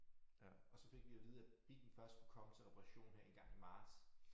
Og så fik vi at vide at bilen først kunne komme til reparation her en gang i marts